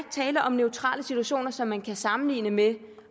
tale om neutrale situationer som man kan sammenligne med